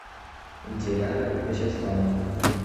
диляра вячеславовна